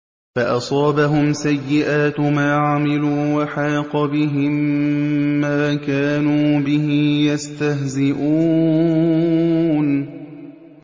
فَأَصَابَهُمْ سَيِّئَاتُ مَا عَمِلُوا وَحَاقَ بِهِم مَّا كَانُوا بِهِ يَسْتَهْزِئُونَ